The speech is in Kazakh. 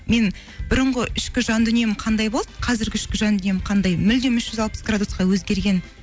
мен бұрынғы ішкі жан дүнием қандай болды қазіргі ішкі жан дүнием қандай мүлдем үш жүз алпыс градусқа өзгерген